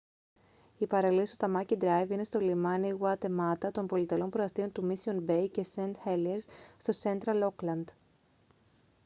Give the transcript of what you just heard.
οι παραλίες του tamaki drive είναι στο λιμάνι waitemata των πολυτελών προαστίων του mission bay και st heliers στο central auckland